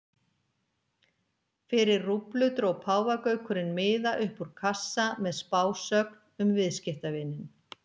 Fyrir rúblu dró páfagaukurinn miða upp úr kassa með spásögn um viðskiptavininn.